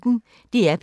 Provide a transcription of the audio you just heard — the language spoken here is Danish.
DR P1